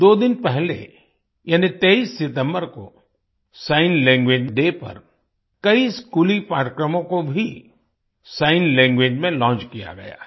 दो दिन पहले यानि 23 सितम्बर को सिग्न लैंग्वेज डे पर कई स्कूली पाठ्यक्रमों को भी सिग्न लैंग्वेज में लॉन्च किया गया है